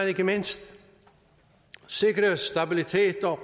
ikke mindst sikres stabilitet